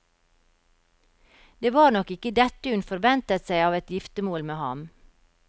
Det var nok ikke dette hun forventet seg av et giftermål med ham.